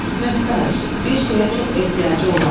Möhtac – bir şeyə çox ehtiyacı olan.